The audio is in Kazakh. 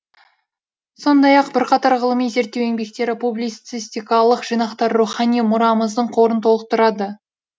сондай ақ бірқатар ғылыми зерттеу еңбектері публицистикалық жинақтары рухани мұрамыздың қорын толықтырады